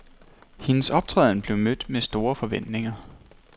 Hendes optræden blev mødt med store forventninger.